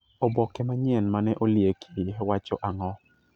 Oboke manyien mane olieki wacho ang'o?